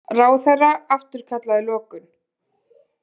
Ráðherra afturkallaði lokun